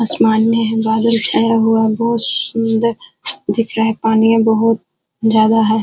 आसमान में बादल छाया हुआ बहोत सुंदर दिख रहा है। पानीया बहोत ज्यादा है।